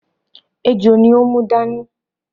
Ejò ni ó mú dání